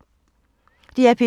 DR P2